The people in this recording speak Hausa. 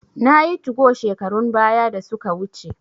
Nayi tugo shekarun baya da suka wuce